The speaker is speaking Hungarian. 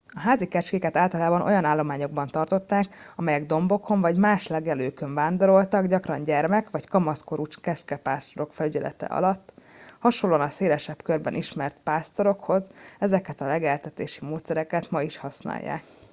a házi kecskéket általában olyan állományokban tartották amelyek dombokon vagy más legelőkön vándoroltak gyakran gyermek vagy kamaszkorú kecskepásztorok felügyelete alatt hasonlóan a szélesebb körben ismert pásztorokhoz ezeket a legeltetési módszereket ma is használják